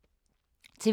TV 2